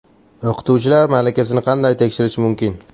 O‘qituvchilar malakasini qanday tekshirish mumkin?